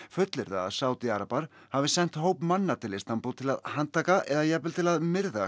fullyrða að Sádi arabar hafi sent hóp manna til Istanbúl til að handtaka eða jafnvel til að myrða